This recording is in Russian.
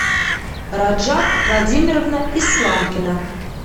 раджаб владимировна исламкина